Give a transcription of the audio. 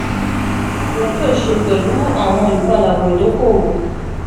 kini iwọ yoo ṣe pẹlu awọn ipadabọ idoko-owo?